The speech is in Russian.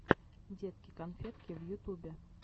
детки конфетки в ютубе